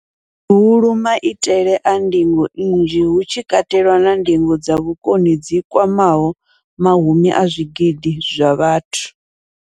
Hulu, maitele a ndingo nnzhi, hu tshi katelwa na ndingo dza vhukoni dzi kwamaho mahumi a zwigidi zwa vhathu.